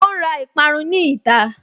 Ó ǹ ra ìparun ní ìta